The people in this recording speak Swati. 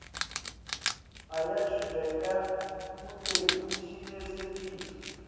uyachubeka kute kucinisekiswe